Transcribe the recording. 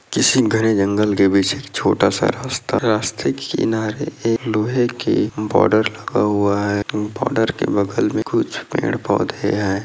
किसी घने जंगल के पीछे एक छोटा सा रास्ता रास्ते के किनारे एक लोहे के बार्डर लगा हुआ है बार्डर के बगल मे कुछ पेड़ पौधे है।